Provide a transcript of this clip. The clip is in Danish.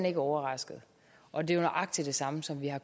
ikke overrasket og det er nøjagtig det samme som vi har